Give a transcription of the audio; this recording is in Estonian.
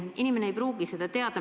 Aga inimene ei pruugi seda teada.